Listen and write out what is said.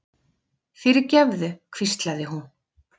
fyrirgefðu, hvíslaði hún.